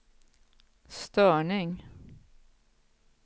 störning